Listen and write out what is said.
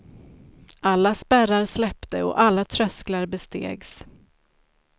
Alla spärrar släppte och alla trösklar bestegs.